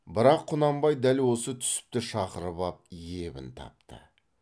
бірақ құнанбай дәл осы түсіпті шақырып ап ебін тапты